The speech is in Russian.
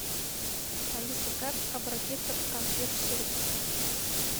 алиса как обратиться к консьерж сервису